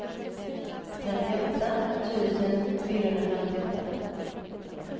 trettioåtta tusen fyrahundrafemtioåtta